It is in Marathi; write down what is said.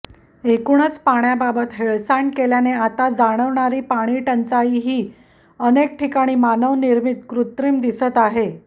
एकूणच पाण्याबाबत हेळसांड केल्याने आता जाणवणारी पाणीटंचाईही ही अनेकठिकाणी मानवनिर्मित कृत्रिम दिसत आहे